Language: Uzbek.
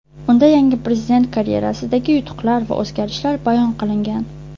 Unda yangi prezident karyerasidagi yutuqlar va o‘zgarishlar bayon qilingan.